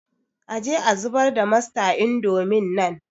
Aje a zubar da masta indomin nan